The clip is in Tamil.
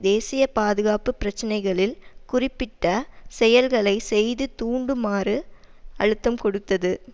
தேசிய பாதுகாப்பு பிரச்சினைகளில் குறிப்பிட்ட செயல்களை செய்து தூண்டுமாறு அழுத்தம் கொடுத்தது